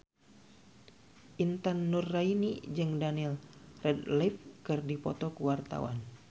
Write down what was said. Intan Nuraini jeung Daniel Radcliffe keur dipoto ku wartawan